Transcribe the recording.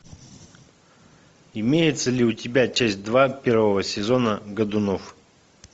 имеется ли у тебя часть два первого сезона годунов